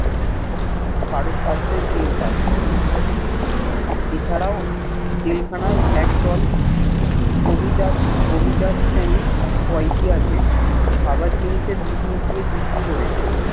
কার সাধ্যই টের পায় এছাড়াও জেল খানার একদল অভিজাত অভিজাত শ্রেণীর কয়েদি আছে খাবার জিনিষে বিষ মিশিয়ে বিক্রি করেছে